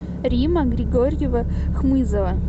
римма григорьева хмызова